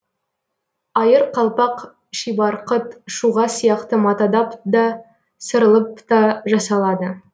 айыр қалпақ шибарқыт шуға сияқты матадап да сырылып та жасалады